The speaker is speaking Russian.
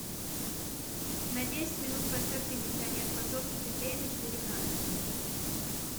на десять минут поставь кондиционер в подсобке теплее на четыре градуса